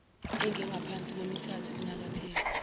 engengaphansi kwemithathu lingakapheli